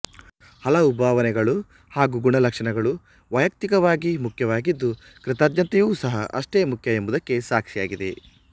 ಹಲವು ಭಾವನೆಗಳು ಹಾಗು ಗುಣಲಕ್ಷಣಗಳು ವೈಯಕ್ತಿಕವಾಗಿ ಮುಖ್ಯವಾಗಿದ್ದುಕೃತಜ್ಞತೆಯು ಸಹ ಅಷ್ಟೇ ಮುಖ್ಯ ಎಂಬುದಕ್ಕೆ ಸಾಕ್ಷಿಯಾಗಿದೆ